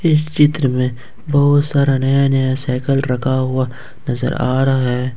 इस चित्र में बहुत सारा नया नया साइकल रखा हुआ नजर आ रहा है।